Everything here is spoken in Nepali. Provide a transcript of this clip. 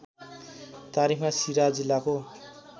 तारिखमा सिराहा जिल्लाको